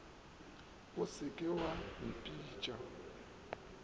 o se ke wa mpitša